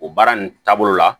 O baara nin taabolo la